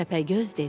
Təpəgöz dedi: